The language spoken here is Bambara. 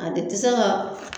A de tɛ se ka